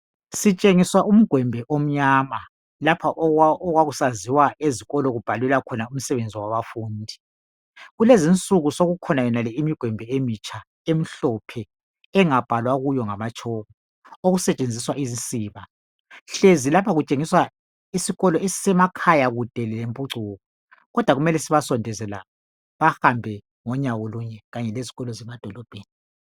Sitshengiswa umgwembe omnyama lapha okwakusaziwa khona ezikolo kubhalelwa umsebenzi wabafundi. Kulezi insuku sokukhona yonale imigwembe emitsha emnhlophe engabhalwa kuyo ngamatshoko okusetshenzisa izisiba. Hlezi lapha kutshengiswa isikolo esisemakhaya kude lemphucuko kodwa kumele sibasondeze la bahambe ngonyawo lunye kanye lezikolo ezisemadolobheni.